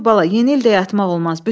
Dur bala, yeni ildə yatmaq olmaz.